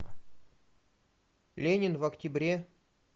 ленин в октябре